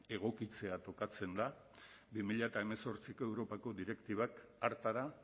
egokitzea tokatzen da bi mila hemezortziko europako direktibak hartara